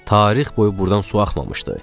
Tarix boyu burdan su axmışdı.